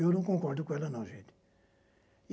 Eu não concordo com ela, não, gente.